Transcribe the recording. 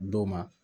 Dɔw ma